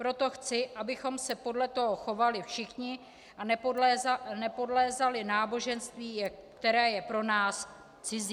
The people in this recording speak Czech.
Proto chci, abychom se podle toho chovali všichni a nepodlézali náboženství, které je pro nás cizí.